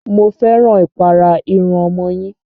Mo fẹ́ràn ìpara irun ọmọ yín.